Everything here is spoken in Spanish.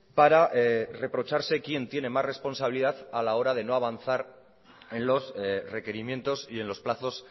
para reprocharse quién tiene más responsabilidad a la hora de no avanzar en los requerimientos y en los plazos